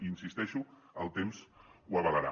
hi insisteixo el temps ho avalarà